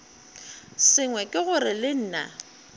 sengwe ke gore le nna